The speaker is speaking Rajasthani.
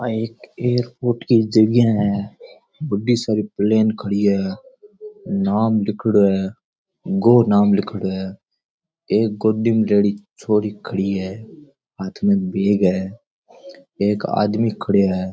आ एक एक कुटकी जगह है बड़ी सारी प्लेन खड़ी है नाम लिख्योड़ो है गो नाम लिख्योड़ो है एक गोदी में लेडीज छोरी खड़ी है हाथ में बेग है एक आदमी खड़यो है।